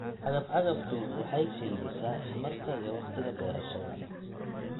Cagaf-cagaftu waxay kaydisaa tamarta iyo wakhtiga beerashada.